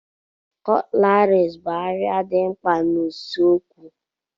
Cutleries bụ arịà dị mkpa n'usekwu.